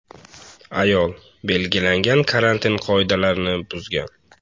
(ayol) belgilangan karantin qoidalarini buzgan.